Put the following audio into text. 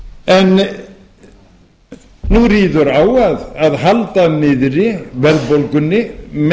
en nú ríður á að halda niðri verðbólgunni